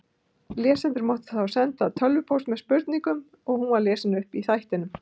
Lesendur máttu þá senda tölvupóst með spurningu og hún var lesin upp í þættinum.